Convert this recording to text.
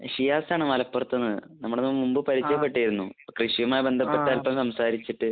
ഷിയാസ് ആണ്. മലപ്പുറത്ത് നിന്ന്. നമ്മൾ മുൻപ് പരിചയപ്പെട്ടിരുന്നു. കൃഷിയുമായി ബന്ധപ്പെട്ട് അല്പം സംസാരിച്ചിട്ട്.